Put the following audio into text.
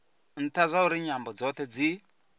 ntha zwauri nyambo dzothe dzi